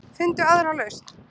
Finndu aðra lausn.